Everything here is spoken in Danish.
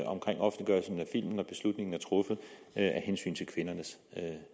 filmen når beslutningen er truffet af hensyn til kvindernes